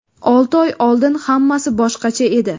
Olti oy oldin hammasi boshqacha edi.